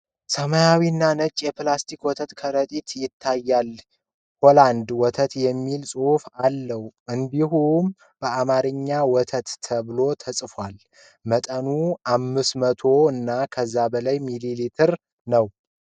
ሰማያዊና ነጭ የፕላስቲክ ወተት ከረጢት ይታያል። ሆላንድ ወተት የሚል ጽሑፍ አለው፣ እንዲሁም በአማርኛ "ወተት" ተብሎ ተጽፏል። መጠኑ 500 ሚሊ ሊትር ነው።